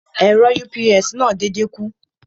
Ẹ̀rọ UPS náà dédé kú.